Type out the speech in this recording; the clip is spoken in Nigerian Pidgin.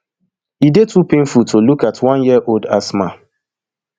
e dey too painful to even look at one year old asma